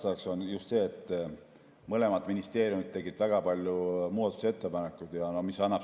Põhjus on just see, et mõlemad ministeeriumid tegid väga palju muudatusettepanekuid.